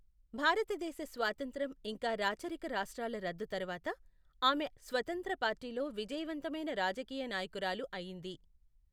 భారతదేశ స్వాతంత్ర్యం ఇంకా రాచరిక రాష్ట్రాల రద్దు తరువాత, ఆమె స్వతంత్ర పార్టీలో విజయవంతమైన రాజకీయ నాయకురాలు అయింది.